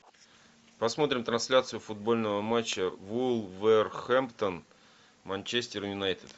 посмотрим трансляцию футбольного матча вулверхэмптон манчестер юнайтед